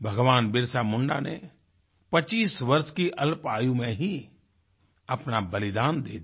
भगवान बिरसा मुंडा ने 25 वर्ष की अल्प आयु में ही अपना बलिदान दे दिया